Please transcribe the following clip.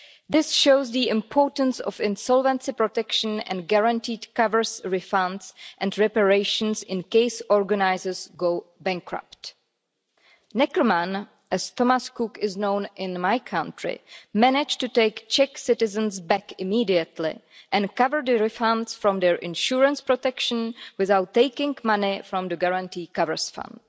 This shows the importance of insolvency protection and of guaranteed cover of refunds and reparations if organisers go bankrupt. Neckermann, as Thomas Cook is known in my country, managed to take Czech citizens home immediately, and covered refunds from their insurance protection without taking money from the guarantee fund.